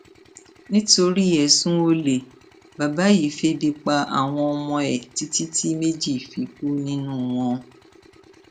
nítorí ẹsùn olè bàbá yìí febi pa àwọn ọmọ ẹ títí tí méjì fi kú nínú wọn